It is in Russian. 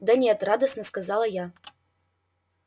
да нет радостно сказала я